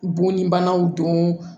Bɔn ni banaw don